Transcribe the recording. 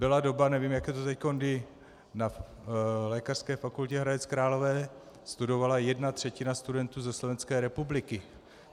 Byla doba, nevím, jak je to teď, kdy na Lékařské fakultě Hradec Králové studovala jedna třetina studentů ze Slovenské republiky.